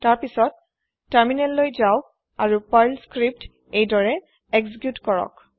তাৰ পিছত তাৰমিনেল যাওক আৰুপাৰ্ল স্ক্ৰিপ্ত এইদৰে এক্জিক্যুত কৰক